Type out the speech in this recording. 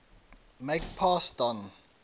make pass don